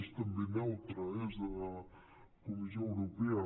és també neutre eh és de la comissió europea